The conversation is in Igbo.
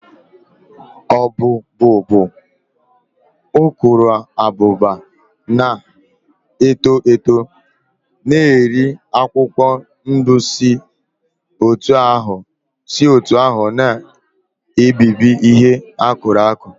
Ọbụ́bụụ bụ ukuruabụba na-eto eto na-eri akwụkwọ ndụ si otú ahụ na-ebibi ihe akụrụ akụ